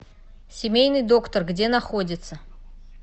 семейный доктор где находится